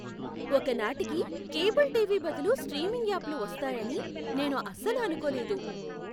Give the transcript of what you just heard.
ఒక నాటికి cable TV బదులు స్ట్రీమింగ్ యాప్లు వస్తాయని నేను అసలు అనుకోలేదు.